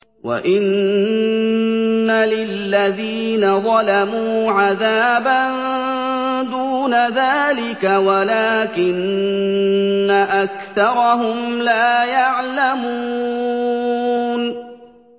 وَإِنَّ لِلَّذِينَ ظَلَمُوا عَذَابًا دُونَ ذَٰلِكَ وَلَٰكِنَّ أَكْثَرَهُمْ لَا يَعْلَمُونَ